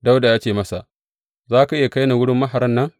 Dawuda ya ce masa, Za ka iya kai ni wurin maharan nan?